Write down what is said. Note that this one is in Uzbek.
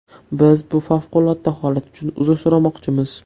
Biz bu favqulodda holat uchun uzr so‘ramoqchimiz”.